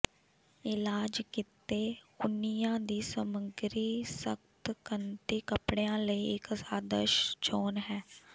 ਇਲਾਜ ਕੀਤੇ ਉਨਿਆਂ ਦੀ ਸਮੱਗਰੀ ਸਖ਼ਤ ਕੱਨਤੀ ਕਪੜਿਆਂ ਲਈ ਇੱਕ ਆਦਰਸ਼ ਚੋਣ ਹੈ